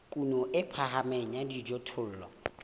kuno e phahameng ya dijothollo